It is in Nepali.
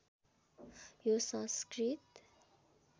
यो संस्कृत